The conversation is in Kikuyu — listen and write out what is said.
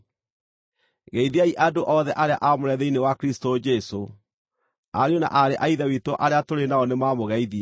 Geithiai andũ othe arĩa aamũre thĩinĩ wa Kristũ Jesũ. Ariũ na aarĩ a Ithe witũ arĩa tũrĩ nao nĩmamũgeithia.